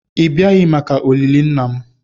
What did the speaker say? ị bịaghị maka olili nna m